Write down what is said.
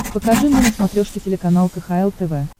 покажи мне на смотрешке телеканал кхл тв